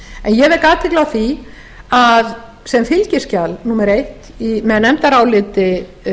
en ég vek athygli á því að sem fylgiskjal númer eitt með nefndaráliti